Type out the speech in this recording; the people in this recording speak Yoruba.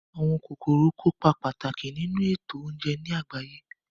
Àwọn kòkòrò kópa pàtàkì nínu ètò oúnje ní àgbáyé